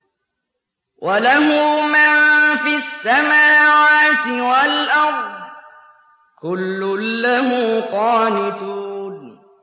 وَلَهُ مَن فِي السَّمَاوَاتِ وَالْأَرْضِ ۖ كُلٌّ لَّهُ قَانِتُونَ